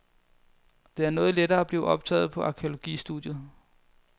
Det er noget lettere at blive optaget på arkæologistudiet.